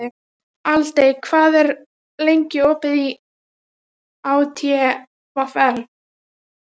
Aldey, hvað er lengi opið í ÁTVR?